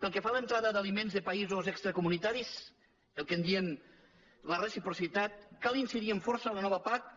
pel que fa a l’entrada d’aliments de països extracomunitaris el que en diem la reciprocitat cal incidir amb força en la nova pac